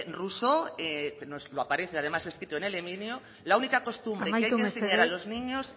rousseau lo aparece además escrito en el emilio la única costumbre amaitu mesedez que hay que enseñar a los niños